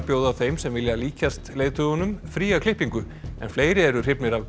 bjóða þeim sem vilja líkjast leiðtogunum fría klippingu en fleiri eru hrifnir af